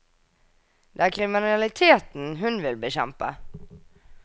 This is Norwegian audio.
Det er kriminaliteten hun vil bekjempe.